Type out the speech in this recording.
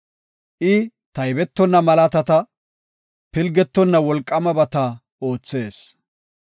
I taybetonna malaatata, pilgetonna wolqaamabata oothees.